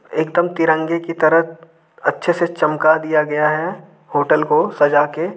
एकदम तिरंगे की तरह अच्छे से चमका दिया गया है होटल को सजा के।